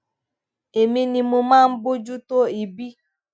èmi ni mo máa ń bójú tó ibi